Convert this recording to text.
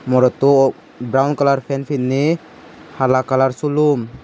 morottu brown colour pan pinni hala colour sulum.